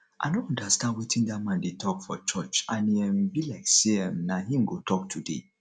i no understand wetin dat man dey talk for church and e um be like say um na him go talk today